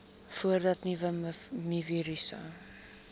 voordat nuwe mivirusse